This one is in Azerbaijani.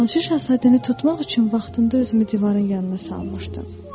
Balaca şahzadəni tutmaq üçün vaxtında özümü divarın yanına salmışdım.